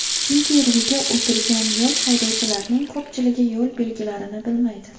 Chunki rulga o‘tirgan yosh haydovchilarning ko‘pchiligi yo‘l belgilarini bilmaydi.